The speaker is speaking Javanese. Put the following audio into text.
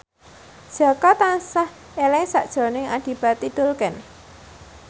Jaka tansah eling sakjroning Adipati Dolken